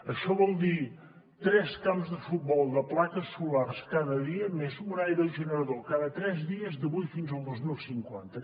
això vol dir tres camps de futbol de plaques solars cada dia més un aerogenerador cada tres dies d’avui fins al dos mil cinquanta